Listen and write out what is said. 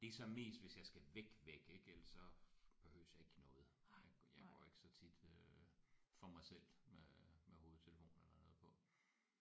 Det er så mest hvis jeg skal væk væk ik ellers så behøves jeg ikke noget jeg går jeg går ikke så tit øh for mig selv med øh med hovedtelefoner eller noget på